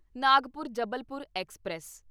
Nagpur Jabalpur express